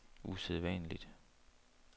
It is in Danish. usædvanligt